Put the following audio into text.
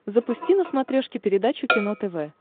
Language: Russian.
запусти на смотрешке передачу кино тв